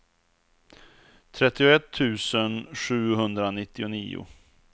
trettioett tusen sjuhundranittionio